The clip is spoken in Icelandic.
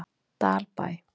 Dalbæ